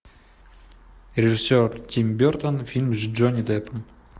режиссер тим бертон фильм с джонни деппом